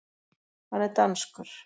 Hann er danskur.